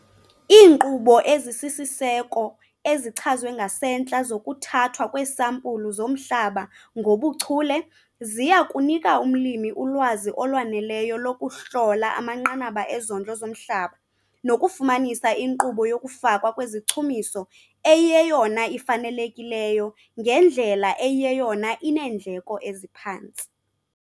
Iinkqubo ezisisiseko ezichazwe ngasentla zokuthathwa kweesampulu zomhlaba ngokuchule ziya kunika umlimi ulwazi olwaneleyo lokuhlola amanqanaba ezondlo zomhlaba nokufumanisa inkqubo yokufakwa kwezichumiso eyiyeyona ifanelekileyo ngendlela eyiyeyona ineendleko eziphantsi.